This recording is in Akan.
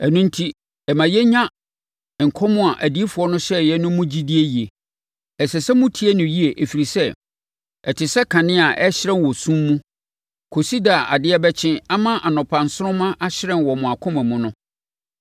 Ɛno enti, ɛma yɛnya nkɔm a odiyifoɔ no hyɛeɛ no mu gyidie yie. Ɛsɛ sɛ motie no yie ɛfiri sɛ, ɛte sɛ kanea a ɛhyerɛn wɔ sum mu kɔsi da a adeɛ bɛkye ama anɔpa nsoromma ahyerɛn wɔ mo akoma mu no.